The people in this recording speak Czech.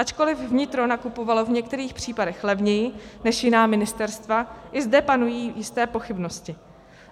Ačkoliv vnitro nakupovalo v některých případech levněji než jiná ministerstva, i zde panují jisté pochybnosti.